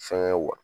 Fɛngɛ